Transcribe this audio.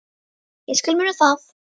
Ég skal muna það.